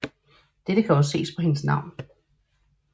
Dette kan også ses på hendes navn